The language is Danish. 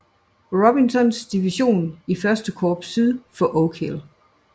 Robinsons division i første korps syd for Oak Hill